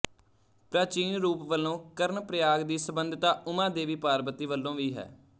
ਪ੍ਰਾਚੀਨ ਰੂਪ ਵਲੋਂ ਕਰਣਪ੍ਰਯਾਗ ਦੀ ਸੰਬੰਧਤਾ ਉਮਾ ਦੇਵੀ ਪਾਰਬਤੀ ਵਲੋਂ ਵੀ ਹੈ